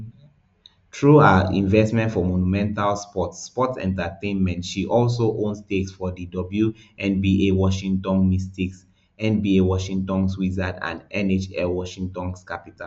through her investment for monumental sports sports entertainment she also own stakes for di wnba washington mystics nba washington wizards and nhl washington capitals